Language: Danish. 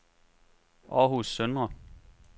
Århus Søndre